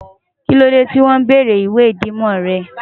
Kílódé tí won bèrè ìwé idánimò re?